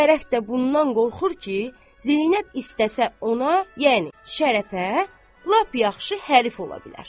Şərəf də bundan qorxur ki, Zeynəb istəsə ona, yəni Şərəfə, lap yaxşı hərif ola bilər.